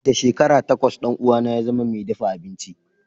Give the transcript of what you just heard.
Da shekara takwas ɗan uwana ya zama mai dafa abinci.